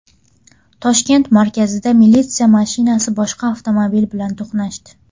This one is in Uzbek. Toshkent markazida militsiya mashinasi boshqa avtomobil bilan to‘qnashdi.